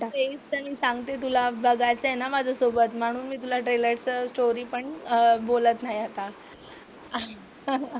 मी सांगते तुला बघायचंय ना माझ्यासोबत म्हणून मी तुला ट्रेलर चं स्टोरी पण अं बोलत नाही आता.